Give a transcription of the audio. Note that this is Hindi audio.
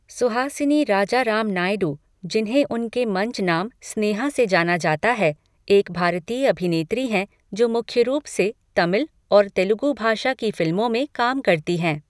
सुहासिनी राजाराम नायडू, जिन्हें उनके मंच नाम स्नेहा से जाना जाता है, एक भारतीय अभिनेत्री हैं जो मुख्य रूप से तमिल और तेलुगु भाषा की फिल्मों में काम करती हैं।